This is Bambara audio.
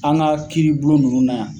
An ka kiiri bulon nunnu na yan.